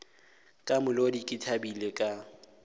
ka molodi ke thabile ka